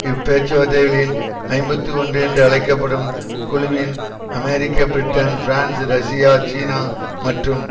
இப்பேச்சுவார்த்தைகளில் ஐம்பத்தி ஒன்று என்று அழைக்க படும் குழுவின் அமெரிக்க பிரிட்டன் பிரான்ஸ் ரஷ்யா சீனா மற்றும்